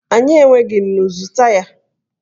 Anyị enweghị nnu! zụta ya